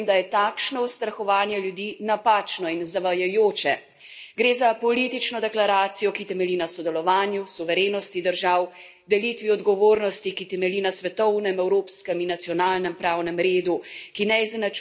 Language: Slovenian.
Gre za politično deklaracijo, ki temelji na sodelovanju, suverenosti držav, delitvi odgovornosti, ki temelji na svetovnem, evropskem in nacionalnem pravnem redu, ki ne izenačuje migrantov z begunci in ne prinaša novih pravnih obveznosti.